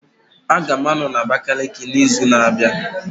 Aga m anọ na Abakiliki n'izu na-abịa